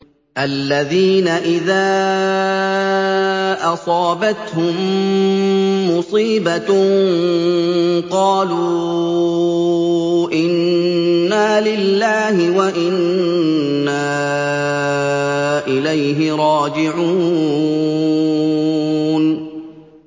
الَّذِينَ إِذَا أَصَابَتْهُم مُّصِيبَةٌ قَالُوا إِنَّا لِلَّهِ وَإِنَّا إِلَيْهِ رَاجِعُونَ